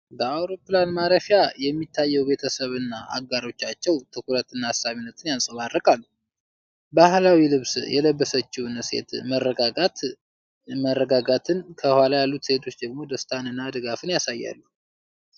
በአውሮፕላን ማረፊያ የሚታየው ቤተሰብና አጋሮቻቸው ትኩረት እና አሳሳቢነት ያንጸባርቃሉ። ባሕላዊ ልብስ የለበሰችው ሴት መረጋጋትን፣ ከኋላ ያሉት ሴቶች ደግሞ ደስታን እና ድጋፍን ያሳያሉ።